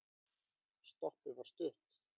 Stoppið var stutt.